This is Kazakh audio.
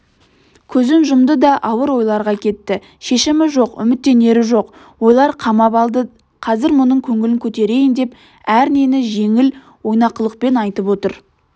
көзін жұмды да ауыр ойларға кетті шешімі жоқ үміттенері жоқ ойлар қамап алды қазір мұның көңілін көтерейін деп әрнені жеңіл ойнақылықпен айтып отыр